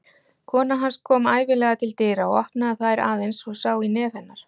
Kona hans kom ævinlega til dyra og opnaði þær aðeins svo sá í nef hennar.